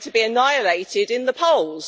You are going to be annihilated in the polls.